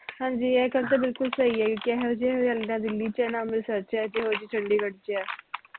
ਹਾਂਜੀ ਇਹ ਗੱਲ ਤੇ ਬਿਲਕੁਲ ਸਹੀ ਆਈ ਕਿਹਾ ਇਹੋ ਜੀ ਹਰਿਆਲੀ ਨਾ ਦਿੱਲੀ ਚ ਐ ਨਾ ਅੰਮ੍ਰਿਤਸਰ ਚ ਐ ਇਹੋ ਜੀ ਚੰਡੀਗੜ੍ਹ ਚ ਐ